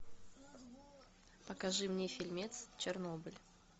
покажи мне фильмец чернобыль